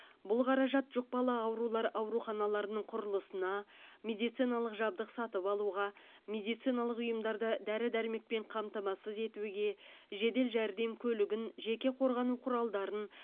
бұл қаражат жұқпалы аурулар ауруханаларының құрылысына медициналық жабдық сатып алуға медициналық ұйымдарды дәрі дәрмекпен қамтамасыз етуге жедел жәрдем көлігін жеке қорғану құралдарын